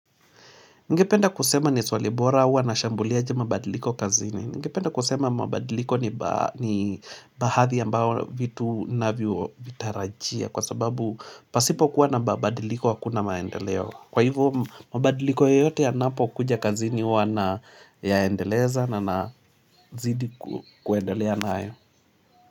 Ningependa kusema ni swali bora huwa na shambulia aje mabadiliko kazini. Ningependa kusema mabadiliko ni bahadhi ambao vitu inavyotarajia kwa sababu pasipo kuwa na mabadiliko hakuna maendeleo. Kwa hivyo mabadiliko yoyote yanapokuja kazini huwa na yaendeleza na nazidi kuendelea nayo.